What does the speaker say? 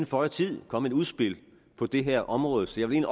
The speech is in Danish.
føje tid komme et udspil på det her område så jeg vil